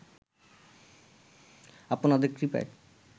আপনাদের কৃপায়